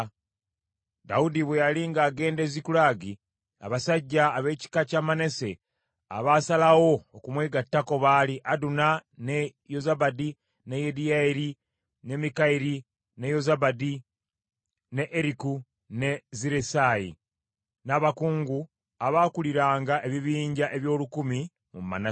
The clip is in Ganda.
Dawudi bwe yali ng’agenda e Zikulagi, abasajja ab’ekika kya Manase abaasalawo okumwegattako baali: Aduna, ne Yozabadi, ne Yediyayaeri, ne Mikayiri, ne Yozabadi, ne Eriku, ne Zirresayi, n’abakungu abaakuliranga ebibinja eby’olukumi mu Manase.